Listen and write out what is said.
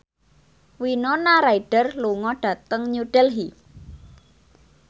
Winona Ryder lunga dhateng New Delhi